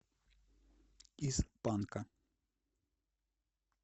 из панка